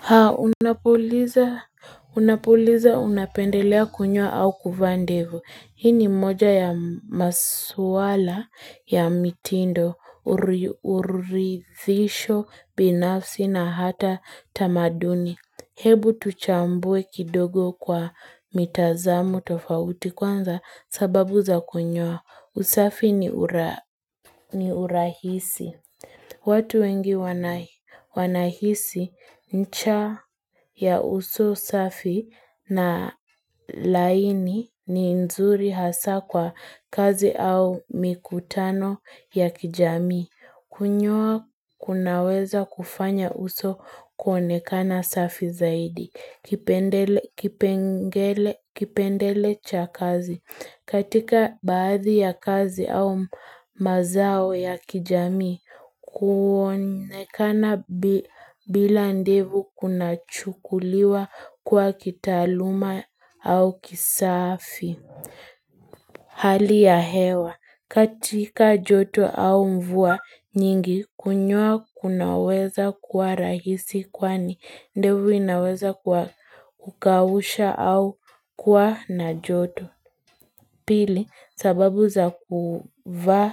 Haa unapuliza unapuliza unapendelea kunyoa au kuvaandevu hii ni mmoja ya maswala ya mitindo uri uri thisho binafsi na hata tamaduni Hebu tuchambue kidogo kwa mitazamo tofauti kwanza sababu za kunyoa. Usafi ni urahisi. Watu wengi wanahi wanahisi ncha ya uso usafi na laini ni nzuri hasa kwa kazi au mikutano ya kijamii. Kunyoa kunaweza kufanya uso kuonekana safi zaidi, kipende kipendele cha kazi. Katika baadhi ya kazi au mazao ya kijamii, kuonekana bi bila ndevu kuna chukuliwa kuwa kitaaluma au kisafi. Hali ya hewa katika joto au mvua nyingi kunyoa kunaweza kuwa rahisi kwani ndevu inaweza kuwa kukausha au kuwa na joto pili sababu za kuvaa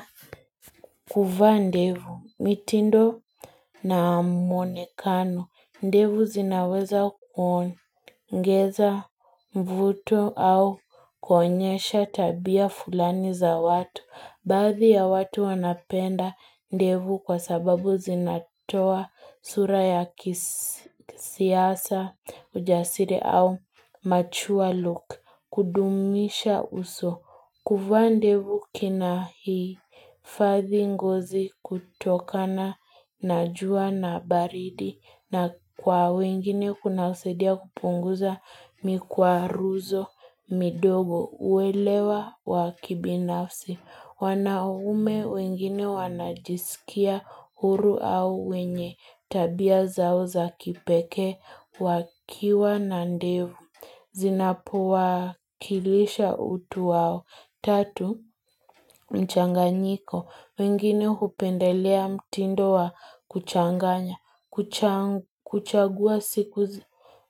kuvaa ndevu, mitindo na muonekano, ndevu zinaweza kuongeza mvuto au kuonyesha tabia fulani za watu. Baadhi ya watu wanapenda ndevu kwa sababu zinatoa sura ya kis kisiasa, ujasiri au machua luk. Kudumisha uso, kuvaa ndevu kina hii. Fathi ngozi kutokana najua na baridi na kwa wengine kunasaidia kupunguza mikwaruzo midogo uelewa wakibinafsi wanaume wengine wanajiskia huru au wenye tabia zao za kipekee wakiwa na ndevu Zinapowa kilisha utu wao Tatu, mchanganyiko, wengine hupendelea mtindo wa kuchanganya, kuchang kuchagua siku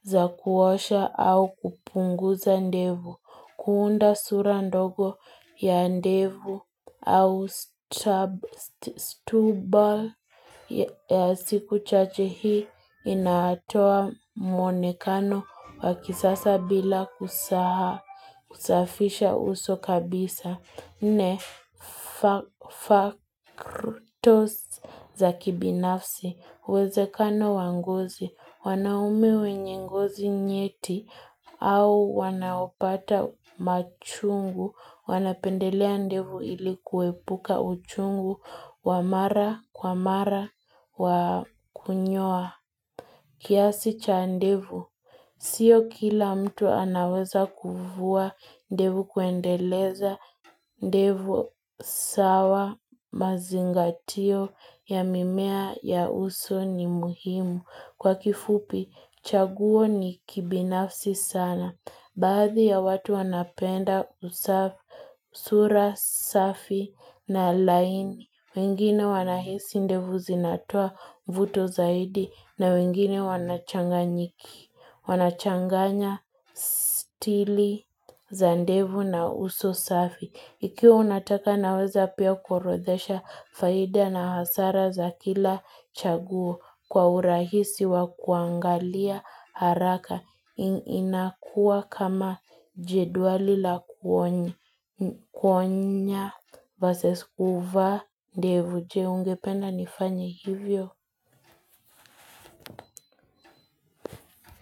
za kuosha au kupungu za ndevu, kuunda sura ndogo ya ndevu au strab stubble ya siku chache hii, inaatoa muonekano wakisasa bila kusa kusafisha uso kabisa. Ne, fa factors za kibinafsi, wezekano wangozi, wanaume wenye ngozi nyeti, au wanaopata machungu, wanapendelea ndevu ilikuepuka uchungu, wa mara kwa mara, wakunyoa kiasi cha ndevu. Sio kila mtu anaweza kuvua ndevu kuendeleza, ndevu sawa, mazingatio, ya mimea ya uso ni muhimu. Kwa kifupi, chaguo ni kibinafsi sana. Baadhi ya watu wanapenda usafi, sura, safi na laini. Wengine wanahisi ndevu zinatoa vuto zaidi na wengine wanachanga nyiki. Wanachanganya stili za ndevu na uso safi Ikiwa unataka naweza pia kuorodhesha faida na hasara za kila chaguo Kwa urahisi wa kuangalia haraka inakua kama jedwali la kuonye kuonya vs kuvaa ndevu Je ungependa nifanye hivyo.